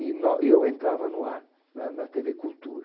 E nó, e eu entrava no ar na na Tevê Cultura.